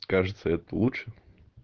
кажется это лучше